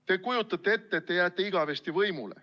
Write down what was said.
Te kujutate ette, et te jääte igavesti võimule.